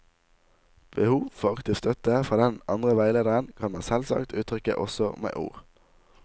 Behov for aktiv støtte fra den andre veilederen kan man selvsagt uttrykke også med ord.